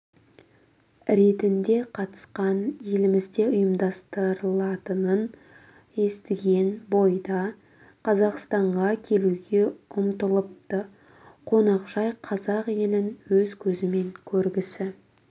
ретінде қатысқан елімізде ұйымдастырылатынын естіген бойда қазақстанға келуге ұмтылыпты қонақжай қазақ елін өз көзімен көргісі